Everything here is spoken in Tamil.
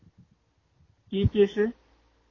EPS ஆஹ்